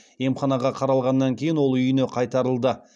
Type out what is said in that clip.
емханаға қаралғаннан кейін ол үйіне қайтарылды